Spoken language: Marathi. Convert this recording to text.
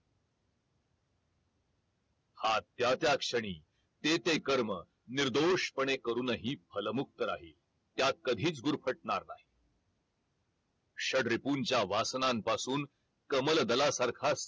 हा त्या त्या क्षणी ते ते कर्म निर्दोषपणे करूनही फल मुक्त राहील. त्यात कधीच गुरफटणार नाही षडरिपुंच्या वासनापासून कमलदलासारखा